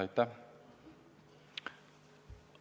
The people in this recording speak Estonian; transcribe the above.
Aitäh!